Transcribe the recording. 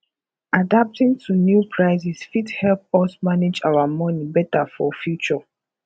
adapting to new prices fit help us manage our money better for future